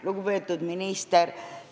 Lugupeetud minister!